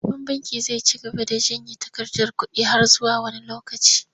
Babban bankin zai ci gaba da janye takarkar kuɗi har zuwa wani lokaci.